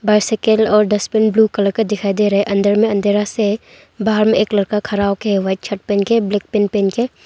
bicycle और dustbin blue colour का दिखाई दे रहा है अंदर में अंधेरा से बाहर में एक लड़का खड़ा है व्हाइट शर्ट पहन के ब्लैक पेंट पहन के--